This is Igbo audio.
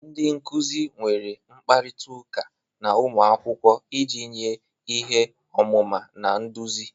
Ndị nkuzi nwere mkparịta ụka na ụmụ akwụkwọ iji nye ihe ọmụma na nduzi